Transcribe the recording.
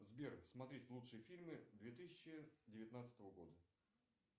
сбер смотреть лучшие фильмы две тысячи девятнадцатого года